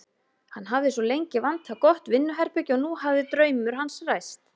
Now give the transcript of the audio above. Hann hafði svo lengi vantað gott vinnuherbergi og nú hafði draumur hans ræst.